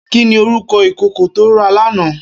Kini órúkò ikókó tó rá làná?